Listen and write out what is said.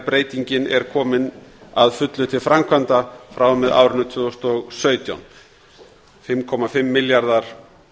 breytingin er komin að fullu til framkvæmda frá og með árinu tvö þúsund og sautján fimmtíu og fimm milljarðar